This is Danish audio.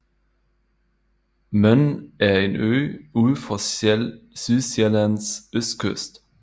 Møn er en ø ud for Sydsjællands østkyst